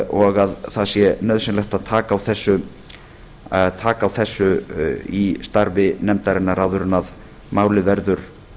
og að það sé nauðsynlegt að taka á þessu í starfi nefndarinnar áður en málið verður